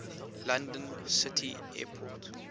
london city airport